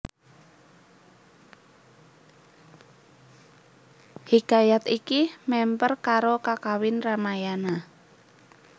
Hikayat iki mèmper karo Kakawin Ramayana